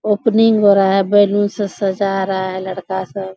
Opening हो रहा है बैलून से सजा रहा है लड़का सब।